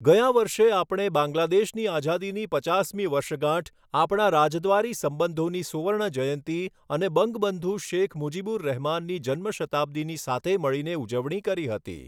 ગયાં વર્ષે આપણે બાંગ્લાદેશની આઝાદીની પચાસમી વર્ષગાંઠ, આપણા રાજદ્વારી સંબંધોની સુવર્ણજયંતી અને બંગબંધુ શેખ મુજીબુર રહમાનની જન્મ શતાબ્દીની સાથે મળીને ઉજવણી કરી હતી.